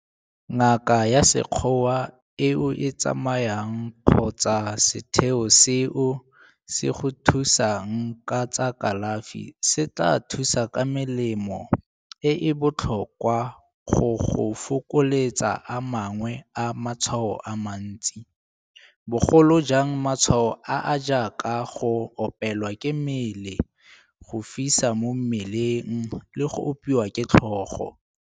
Ngaka ya sekgowa e o e tsamayang kgotsa setheo seo se go thusang ka tsa kalafi se tla go thusa ka melemo e e botlhokwa go go fokoletsa a mangwe a matshwao a mantsi, bogolo jang matshwao a a jaaka go opelwa ke mmele, go fisa mo mmeleng le go opiwa ke tlhogo.